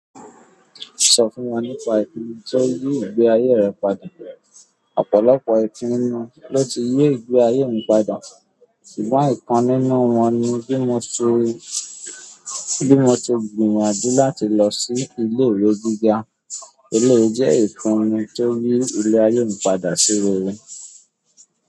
Sọ fún wa nípa ìpinu ti o yí ìgbé ayé rẹ padà. Ọ̀pọ̀lọpọ̀ ìpinu ló ti yí ìgbé ayé mi padà, ṣùgbọ́n ìkan nínú wọn ni bí mo ṣe, bí mo ṣe gbìyànjú láti lọ sí ìle ìwé gíga. Eléyìí jẹ́ ìpinu tó yí ilé ayé mi padà sí rere.